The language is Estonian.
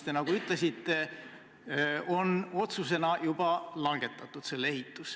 Te nagu ütlesite, et selle ehitamise otsus on juba langetatud.